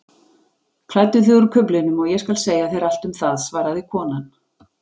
Klæddu þig úr kuflinum og ég skal segja þér allt um það svaraði konan.